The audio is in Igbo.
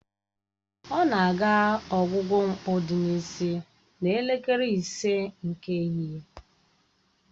Ọ na-aga ọgwụgwọ mkpụ dị n'isi n'elekere ise nke ehihie